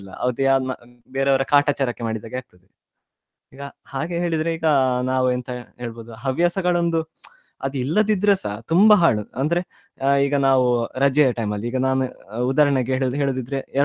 ಅದ್ಯಾವ ಮ~ ಬೇರೆಯವರ ಕಾಟಚಾರಕ್ಕೆ ಮಾಡಿದಾಗೆ ಅಗ್ತದೆ ಈಗ ಹಾಗೆ ಹೇಳಿದ್ರೆ ಈಗ ನಾವ್ ಎಂತ ಹೇಳ್ಬಹುದು ಹವ್ಯಾಸಗಳೊಂದು ಅದ್ ಇಲ್ಲದಿದ್ರೆಸಾ ತುಂಬಾ ಹಾಳು ಅಂದ್ರೆ ಈಗ ನಾವ್ ರಜೆಯ time ಅಲ್ಲಿ ಈಗ ನಾನು ಉದಾಹರಣೆಗೆ ಹೇಳುದ ಹೇಳದಿದ್ರೆ.